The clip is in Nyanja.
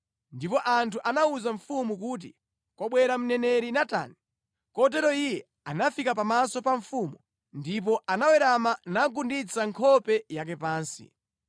Ndipo anthu anawuza mfumu kuti, “Kwabwera mneneri Natani.” Kotero iye anafika pamaso pa mfumu ndipo anawerama nagunditsa nkhope yake pansi.